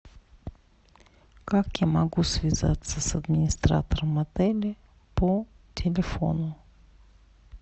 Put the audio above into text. как я могу связаться с администратором отеля по телефону